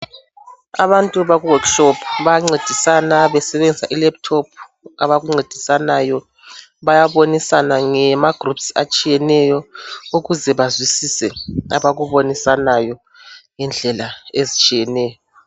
abantu baku workshop bayancedisana besebenzisa i laptop bayabonisana ngama groups atshiyeneyo ukuze bazwisise abakubonisanayo ngendlela ezitshiyeneyo